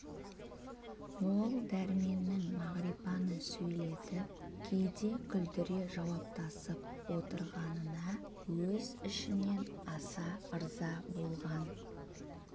ол дәрменнің мағрипаны сөйлетіп кейде күлдіре жауаптасып отырғанына өз ішінен аса ырза болған